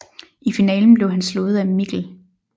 I finalen blev han slået af Mikl